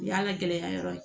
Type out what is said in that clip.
O y'a ka gɛlɛya yɔrɔ ye